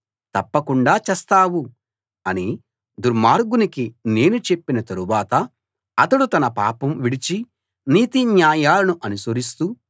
తప్పకుండా చస్తావు అని దుర్మార్గునికి నేను చెప్పిన తరువాత అతడు తన పాపం విడిచి నీతి న్యాయాలను అనుసరిస్తూ